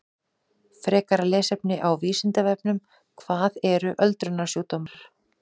Frekara lesefni á Vísindavefnum: Hvað eru öldrunarsjúkdómar?